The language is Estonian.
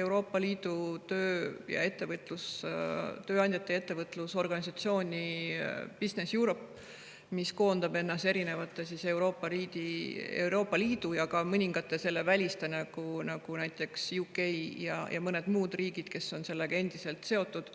Euroopa Liidu tööandjate ja ettevõtluse organisatsiooni BusinessEurope, mis koondab endasse erinevad Euroopa Liidu ja ka mõningad selle välised, nagu näiteks UK ja mõned muud, kes on selle endiselt seotud.